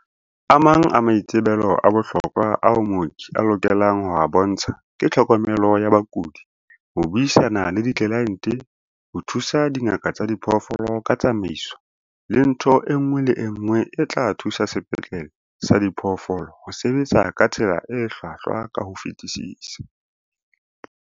"A mang a maitsebelo a bohlokwa ao mooki a lokelang ho a bontsha ke tlhokomelo ya bakudi, ho buisana le ditlelaente, ho thusa dingaka tsa diphoofolo ka ditsamaiso, le ntho e nngwe le e nngwe e tla thusa sepetlele sa diphoofolo ho sebetsa ka tsela e hlwahlwa ka ho fetisisa."